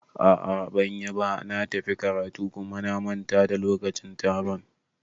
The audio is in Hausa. A'a banyiba, na tafi karatu kuma na manta da lokacin taron